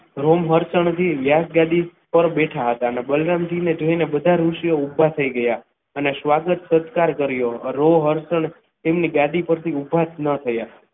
Room મરચાં થી વ્યાસ ગાડી પર બેઠા હતા અને બલરામજી ને જોઈને બધા ઋષિઓ ઊભા થઈ ગયા હતા અને સ્વાગત તેમની ગાડી ઉપરથી ઉભા જ ન થયા.